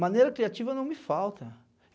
Maneira criativa não me falta.